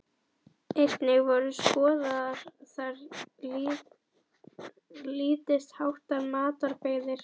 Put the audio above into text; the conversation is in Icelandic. Einnig voru skoðaðar þar lítils háttar matarbirgðir.